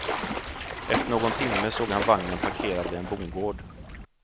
Efter någon timme såg han vagnen parkerad vid en bondgård.